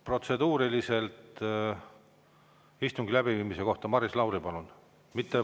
Protseduuriline istungi läbiviimise kohta, Maris Lauri, palun!